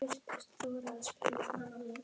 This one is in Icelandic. hugsaði hún.